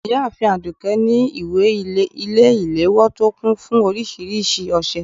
ìyáàfín adùké ní ìwé ile-ìlewọ to kún fún oríṣiríṣi òsẹ